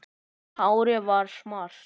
Og hárið varð svart